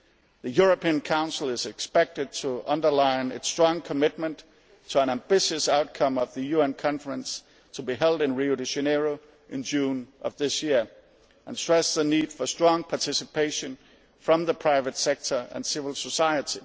The European Council is expected to underline its strong commitment to an ambitious outcome of the UN conference to be held in Rio de Janeiro in June of this year and stress the need for strong participation from the private sector and civil society.